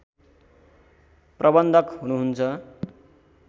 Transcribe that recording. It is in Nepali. प्रबन्धक हुनुहुन्छ